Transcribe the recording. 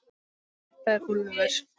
Þetta er Úlfur.